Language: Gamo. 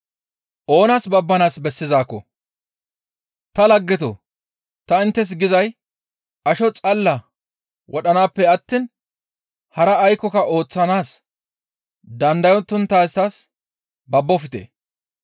«Ta laggetoo! Ta inttes gizay asho xalla wodhanaappe attiin hara aykkoka ooththanaas dandayonttaytas babbofte.